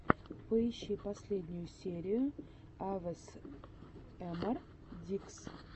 поищи последнюю серию авесэмар кидс